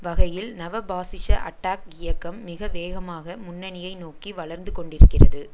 வகையில் நவபாசிச அட்டாக் இயக்கம் மிக வேகமாக முன்னணியை நோக்கி வளர்ந்து கொண்டிருக்கிறது